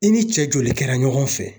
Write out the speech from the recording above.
I ni cɛ joli kɛra ɲɔgɔn fɛ?